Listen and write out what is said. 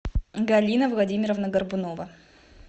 галина владимировна горбунова